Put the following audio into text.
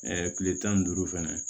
kile tan ni duuru fɛnɛ